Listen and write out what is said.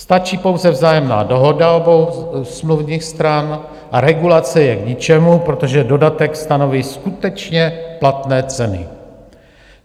Stačí pouze vzájemná dohoda obou smluvních stran a regulace je k ničemu, protože dodatek stanoví skutečně platné ceny.